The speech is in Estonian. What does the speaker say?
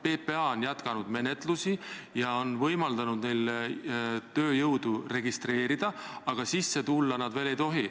PPA on jätkanud menetlusi ja on võimaldanud neil tööjõudu registreerida, aga Eestisse tulla nad veel ei tohi.